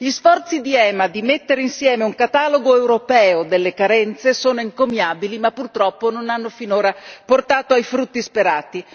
Gli sforzi di EMA per mettere insieme un catalogo europeo delle carenze sono encomiabili, ma purtroppo non hanno finora portato i frutti sperati.